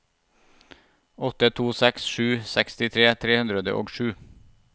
åtte to seks sju sekstitre tre hundre og sju